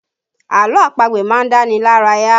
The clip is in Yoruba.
Àlọ́ àpagbè má ń dá ni lára yá